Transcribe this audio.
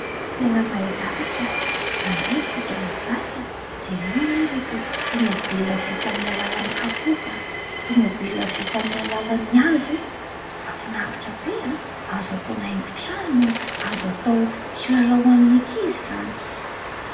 Tena mahay zavatra rangahy isika gasy a! jereo anie ireto tomobilona vita amin'ny alalan'ny kapoaka, tomobilona vita amin'ny alalan'ny hazo e! mahafinaritra be azo atao haingon-trano, azo atao kilalao ho an'ny ankizy izany.